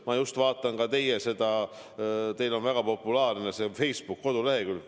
Ma just vaatasin teie väga populaarset Facebooki kodulehekülge.